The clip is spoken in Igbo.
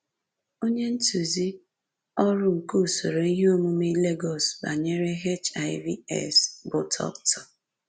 Onye ntụzi ọrụ nke usoro ihe omume Lagos banyere HIV/AIDS bụ Dr